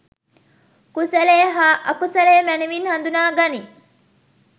කුසලය හා අකුසලය මැනවින් හඳුනා ගනී.